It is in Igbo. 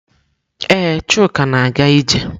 Ee, Chuka na-aga ije.